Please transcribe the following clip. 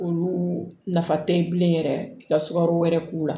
Olu nafa tɛ bilen yɛrɛ ka sukaro wɛrɛ k'u la